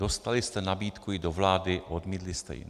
Dostali jste nabídku jít do vlády, odmítli jste ji.